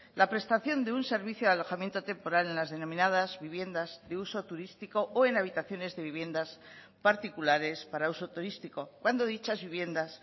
la prestación de un servicio de alojamiento temporal en las denominadas viviendas de uso turístico o en habitaciones de viviendas particulares para uso turístico cuando dichas viviendas